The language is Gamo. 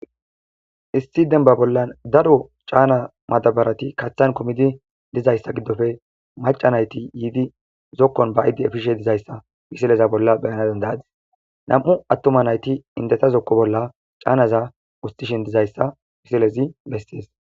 Issi dembba bollan daro caana madabarati katan kumidi dizayssa giddoppe macca nayti yiidi zokkon ba'idi efishe dizayssa misileza bollan be'ana danda'adisse. Nam'u attuma nayti indeta zokko bolla caanaza woththishin dizayssa misilezi bessees.